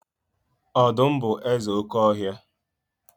Ọdụm bụ eze oké ọhịa.